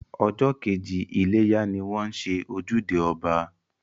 Ọjọ́ kejì iléyá ni wọ́n ń ṣe ojúde ọba